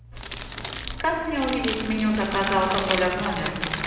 как мне увидеть меню заказа алкоголя в номер